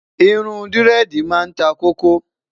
irún diredi má n tá koko